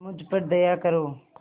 मुझ पर दया करो